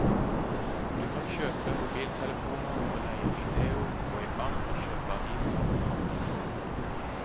Du kan kjøpe mobiltelefoner og leie video, gå i bank og kjøpe aviser og hamburgere.